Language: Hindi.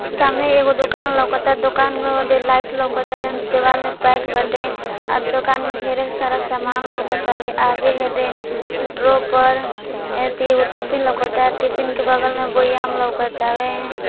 सामने एक दुकान है दुकान में लाईट लगा है दीवाल के पेंट दुकान में ढेर सारा सामान है और ड्रोर पर टिफिन है टिफिन के बगल में है वे--